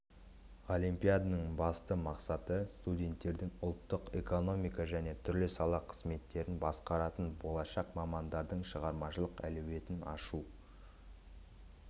олимпиаданың басты мақсаты студенттердің ұлттық экономика және түрлі сала қызметтерін басқаратын болашақ мамандардың шығармашылық әлеуетін ашу